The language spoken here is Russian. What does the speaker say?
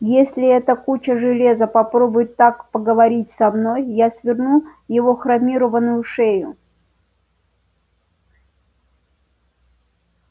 если эта куча железа попробует так поговорить со мной я сверну его хромированную шею